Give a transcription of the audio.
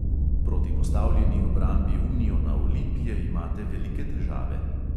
Proti postavljeni obrambi uniona olimpije imate velike težave.